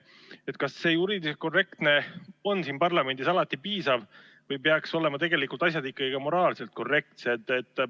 Aga kas juriidiliselt korrektne on siin parlamendis alati piisav või peaks olema asjad tegelikult ikkagi moraalselt korrektsed?